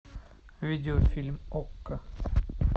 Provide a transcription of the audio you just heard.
видеофильм окко